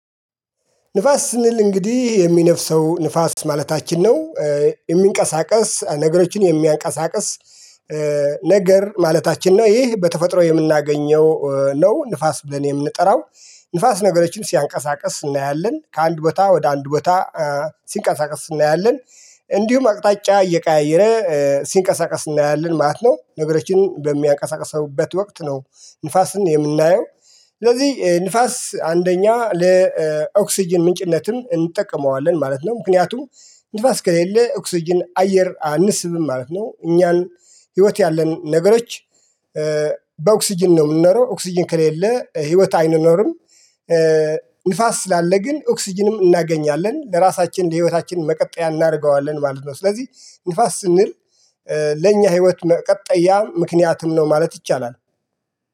ንፋስ ስንል እንግዲህ የሚነፍሰው ንፋስ ማለታችን ነው የሚንቀሳቀስ ነገሮችን የሚያንቀሳቅስ። ነገር ማለታችን ነው ይህ በተፈጥሮ የምናገኘው ነው ንፋስ ብለን የምንጠራው። ንፋስ ነገሮችን ሲያንቀሳቅስ እናያለን ከአንድ ቦታ ወደ አንድ ቦታ ሲንቀሳቀስ እናያለን። እንዲሁም አቅጣጫ እየቀያየረ ሲንቀሳቀስ እናያለን ማለት ነው። ነገሮችን በሚያቀሳቅስበት ወቅት ነው ንፋስን የምናየው። ስለዚህ ንፋስ አንደኛ ለኦክስጅን ምንጭነትን እንጠቀመዋለን ማለት ነው። ምክንያቱም ንፋስ ከሌለ ኦክስጅን አየር አንስብም ማለት ነው። እኛን ህይወት ያለን ነገሮች በኦክስጅን ነው የምንኖረው ኦክስጅን ከሌለ ህይወት አይኖርም። ንፋስ ስላለ ግን ኦክስጅንም እናገኛለን ለራሳችን ለህይወታችን መቀጠያ እናደርገዋለን ማለት ነው። ስለዚህ ንፋስ ስንል ለኛ ህይወት መቀጠያ ምክንያትም ነው ማለት ይቻላል።